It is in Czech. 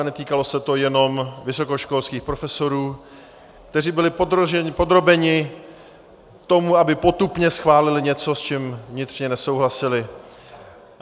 A netýkalo se to jenom vysokoškolských profesorů, kteří byli podrobeni tomu, aby potupně schválili něco, s čím vnitřně nesouhlasili.